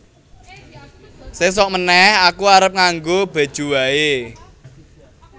Sesok meneh aku arep nganggo Bejeu wae